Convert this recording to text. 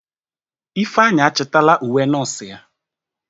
Ifeanyi achitala uwe nọọsụ ya.